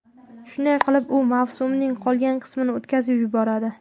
Shunday qilib, u mavsumning qolgan qismini o‘tkazib yuboradi.